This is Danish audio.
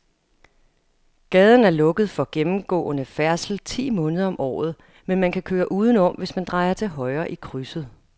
Gaden er lukket for gennemgående færdsel ti måneder om året, men man kan køre udenom, hvis man drejer til højre i krydset.